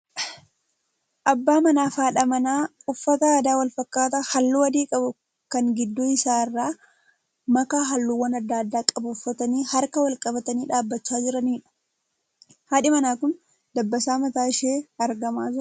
Abbaa manaa fi haadha manaa uffata aadaa wal fakkaataa halluu adii qabu kan gidduu isaa irraa makaa halluuwwan adda addaa qabu uffatanii harka wal qabatanii dhaabbachaa jiraniidha. Haadhi manaa kun dabbasaan mataa ishee argamaa jira.